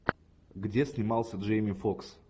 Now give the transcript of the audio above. где снимался джейми фокс